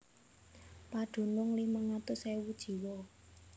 Padunung limang atus ewu jiwa